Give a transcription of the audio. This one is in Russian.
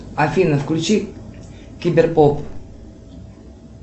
афина включи кибер поп